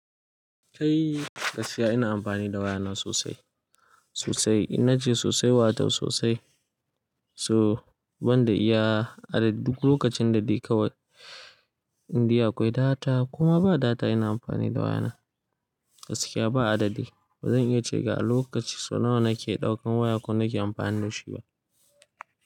Kai gaskiya ina amfani da wayana sosai sosai inna ce sosai wato sosai so banda iya a duk lokacin da dai kawai indai akwai data koma ba data ina amfani da wayana gaskiya ba adadi bazan iya ce ga a lokaci so nawa nake ɗaukan waya ko nake amfani da shi ba.